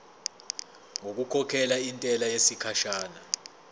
ngokukhokhela intela yesikhashana